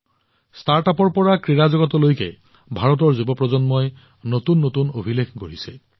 ষ্টাৰ্টআপৰ পৰা ক্ৰীড়া জগতলৈকে ভাৰতৰ যুৱ প্ৰজন্মই নতুন অভিলেখ গঢ়িছে